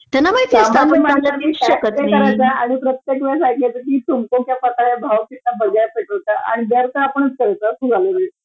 common man म्हटलं कि tax pay करायचंय आणि प्रत्येकवेळेस ऐकायच कि तुमको क्या पता है भाव कितना बढा है पेट्रोल का आणि जर का आपण समजा